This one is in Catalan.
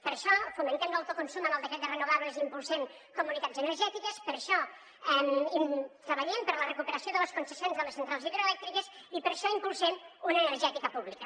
per això fomentem l’autoconsum amb el decret de renovables i impul·sem comunitats energètiques per això treballem per la recuperació de les concessi·ons de les centrals hidroelèctriques i per això impulsem una energètica pública